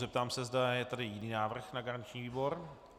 Zeptám se, zda je tady jiný návrh na garanční výbor.